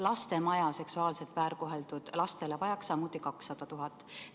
Lastemaja seksuaalselt väärkoheldud lastele vajaks samuti 200 000 eurot.